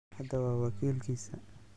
Hadda, waa wakiilkiisa.